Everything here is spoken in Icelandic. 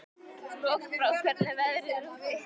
Lokbrá, hvernig er veðrið úti?